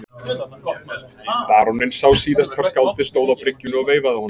Baróninn sá síðast hvar skáldið stóð á bryggjunni og veifaði honum.